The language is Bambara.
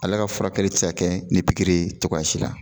Ale ka furakɛli te se ka kɛ ni pikiri ye cogoya si la.